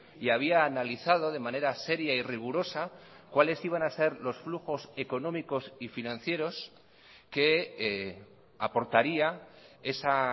y había analizado de manera seria y rigurosa cuáles iban a ser los flujos económicos y financieros que aportaría esa